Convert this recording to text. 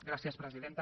gràcies presidenta